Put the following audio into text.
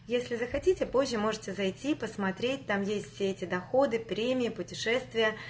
если захотите позже можете зайти посмотреть там есть все эти доходы премии путешествия